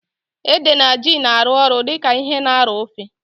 Ede na ji na arụ ọrụ dịka ihe na arọ ofe